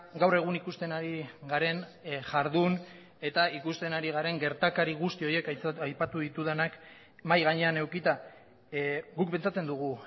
gaur egun ikusten ari garen jardun eta ikusten ari garen gertakari guzti horiek aipatu ditudanak mahai gainean edukita guk pentsatzen dugu